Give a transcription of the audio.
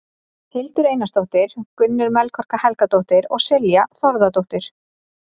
Hildur Einarsdóttir, Gunnur Melkorka Helgadóttir og Silja Þórðardóttir.